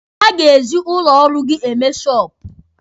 Ha ga-eji ụlọ ọrụ gị eme shọọpụ.